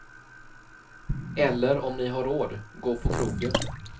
Eller om ni har råd, gå på krogen.